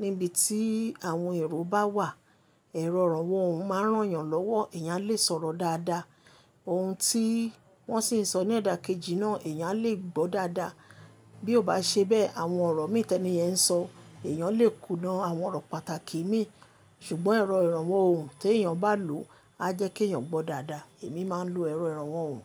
níbi tí àwọn èrò bá wà. Èrọ ìrànwọ́ ohùn máa ń rán ènìyàn lọ́wọ́. Eyán a lè sọ̀rọ̀ dáadáa. Ohun tí wọ́n sì ń sọ ní ọ̀dà kejì náà, ẹ̀yàn lè gbọ́ dáadáa. Bí ó bá ṣe bẹ́ẹ̀, àwọn ọ̀rọ̀ mi itẹni yẹn ń sọ, ẹ̀yàn lè kùnà àwọn ọ̀rọ̀ pàtàkì mi. Ṣùgbọ́n èrọ ìrànwọ́ ohùn tí èèyàn bá lò á jẹ́ kí ẹ̀yàn gbọ́ dáadáa. Èmi máa ń lo èrọ ìrànwọ́ ohùn.